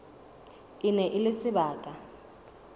e ne e le sebaka